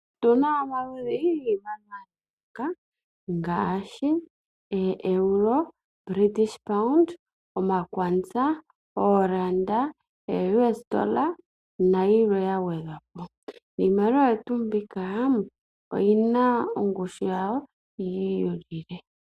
Otu na omaludhi giimaliwa ga yooloka ngaashi ooeuro, British pound, omakwanza, ooranda, ooUSD nayilwe ya gwedhwa po. Iimaliwa oyo tuu mbika oyi na ongushu yawo yi ilile.